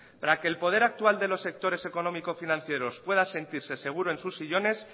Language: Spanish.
para que el poder actual de los sectores económico financieros pueda sentirse seguro en sus sillones